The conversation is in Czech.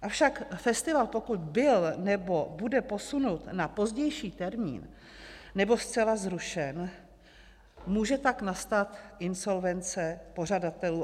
Avšak festival, pokud byl nebo bude posunut na pozdější termín nebo zcela zrušen, může pak nastat insolvence pořadatelů.